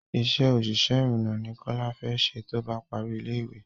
Isé òṣìṣẹ́ ìrììnà ni kọ́lá fẹ ṣe tóbá parí ilé ìwé